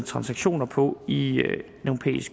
transaktioner på i